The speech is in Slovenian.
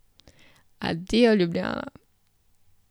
Adijo, Ljubljana!